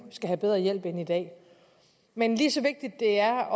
skal have bedre hjælp end i dag men lige så vigtigt det er